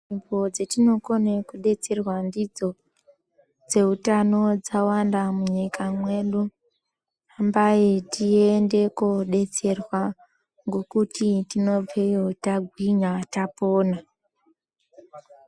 Nzvimbo dzatinokona kudetserwa ndidzo dzeutano dzawanda munyika mwedu hambai tiende kodetserwa ngokuti tinobveyo tagwinya tapona.